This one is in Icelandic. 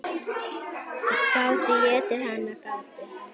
Gátu étið hana, gátu.